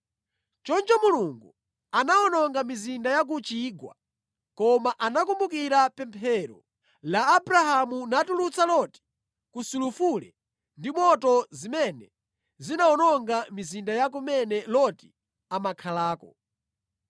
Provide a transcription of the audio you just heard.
Choncho Mulungu anawononga mizinda ya ku chigwa, koma anakumbukira pemphero la Abrahamu natulutsa Loti ku sulufule ndi moto zimene zinawononga mizinda ya kumene Loti amakhalako.